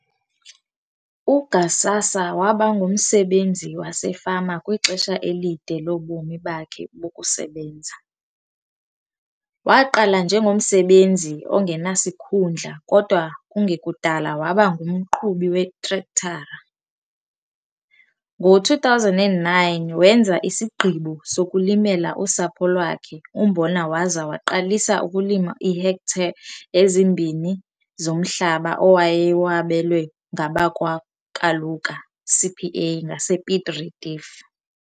UGhsasa waba ngumsebenzi wasefama kwixesha elide lobomi bakhe bokusebenza. Waqala njengomsebenzi ongenasikhundla kodwa kungekudala waba ngumqhubi weetrektara. Ngo-2009 wenza isigqibo sokulimela usapho lwakhe umbona waza waqalisa ukulima iihektare ezimbini zomhlaba owayewabelwe ngabakwaKaluka CPA ngasePiet Retief.